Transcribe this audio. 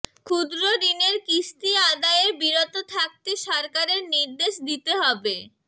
ক্ষুদ্র ঋণের কিস্তি আদায়ে বিরত থাকতে সরকারের নির্দেশ দিতে হবে